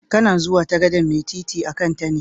Kana zuwa ta gadan'mai titi a'kan ta ne?